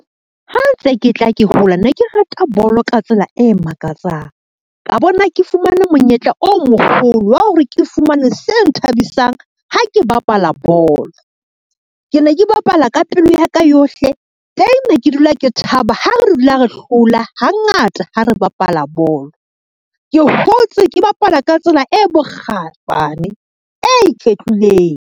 Ha ntse ke tla ke hola ne ke rata bolo ka tsela e makatsang, ka bona ke fumane monyetla o moholo wa hore ke fumane se nthabisang ha ke bapala bolo. Ke ne ke bapala ka pelo ya ka yohle, teng ne ke dula ke thaba ha re dula re hlola hangata ha re bapala bolo. Ke hotse ke bapala ka tsela e bokgaebane, e iketlileng.